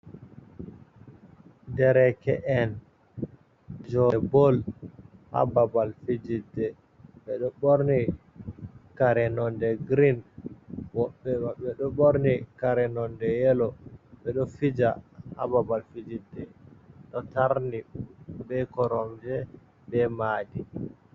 Dereke’en fijobe bol ,ababal fijite bedo borni kare nonde green webbe do borni kare nonde yelo bedo fija ababal fijirde do tarni be koromje be madi.